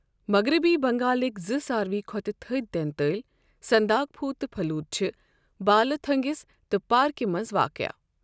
مغربی بنگالٕکۍ زٕ ساروِٕے کھوتہٕ تٔھدۍ تیٚنتٲلۍ، سنداکپھوُ تہٕ پھَلُوت چھِ بالہٕ تھوٚنٛگِس تہٕ پارکہِ منٛز واقعہ۔